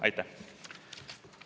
Aitäh!